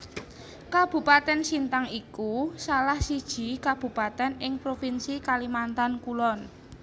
Kabupatèn Sintang iku salah siji kabupatèn ing provinsi Kalimantan Kulon